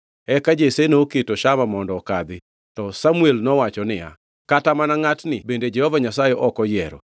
Eka Jesse noketo Shama mondo okadhi, to Samuel nowacho niya, “Kata mana ngʼatni bende Jehova Nyasaye ok oyiero.”